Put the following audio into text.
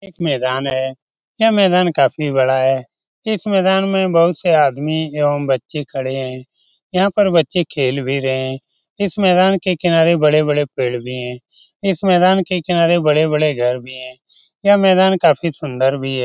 यह एक मैदान है। यह मैदान काफी बड़ा है। इस मैदान में बहुत से आदमी एवं बच्चे खड़े हैं। यहाँ पर बच्चे खेल भी रहें हैं। इस मैदान के किनारे बड़े-बड़े पेड़ भी हैं। इस मैदान के किनारे बड़े-बड़े घर भी हैं। यह मैदान काफी सुंदर भी है।